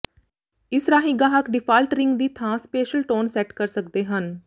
ਇਸ ਰਾਹੀਂ ਗਾਹਕ ਡਿਫਾਲਟ ਰਿੰਗ ਦੀ ਥਾਂ ਸਪੈਸ਼ਲ ਟੋਨ ਸੈੱਟ ਕਰ ਸਕਦੇ ਹਨ